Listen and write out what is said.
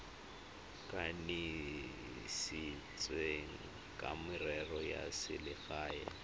kanisitsweng wa merero ya selegae